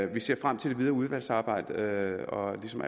vi ser frem til det videre udvalgsarbejde og ligesom